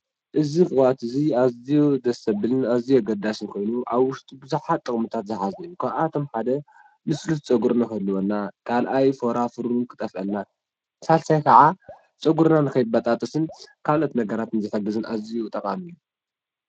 እዙይ ቅብኣት እዚ ኣዝዩ ደስ ዞብልን እዝዩ ኣገዳስን ኮይኑ ኣብ ውሽጡ ብዙሓት ጥቕ ምታት ዝሓዘን እዩ፡፡ ካብኣቶም ሓደ ልስሉስ ፀጕሪ ክህልወና፣ ካልኣይ ፎራፉር ከጥፍአልና፣ ሳልሳይ ከዓ ፀጕርናን ከይበጣጠስን ካልኦት ነገራት ዝሕግዝን ኣዝዩ ጠቓሚ እዩ፡፡